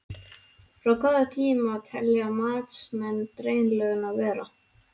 Frá hvaða tíma telja matsmenn drenlögnina vera?